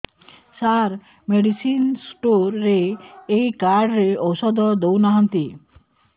ସାର medicine store ରେ ଏଇ card ରେ ଔଷଧ ଦଉନାହାନ୍ତି